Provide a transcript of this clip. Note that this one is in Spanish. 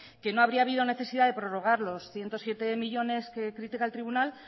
que no habría habido necesidad de prorrogar los ciento siete millónes que critica el tribunal